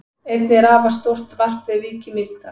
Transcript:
Einnig er afar stórt varp við Vík í Mýrdal.